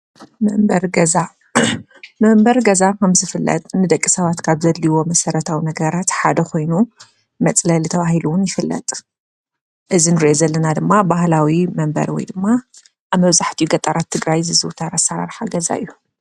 መንበሪ ገዛ:- መንበሪ ገዛ ከምዝፍለጥ ንደቂ ሰባት ካብ ዘድልይዎም መሰረታዊ ነገራት ሓደ ኾይኑ መፅለሊ ተባሂሉ እዉን ይፍለጥ። እዚ እንሪኦ ዘለና ድማ ባህላዊ መንበሪ ወይ ድማ ኣብ መብዛሕቲኡ ገጠራት ትግራይ ዝዝውተር ኣሰራርሓ ገዛ እዩ።